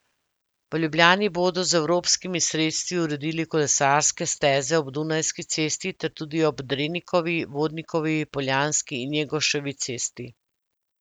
V Ljubljani bodo z evropskimi sredstvi uredili kolesarske steze ob Dunajski cesti ter tudi ob Drenikovi, Vodnikovi, Poljanski in Njegoševi cesti.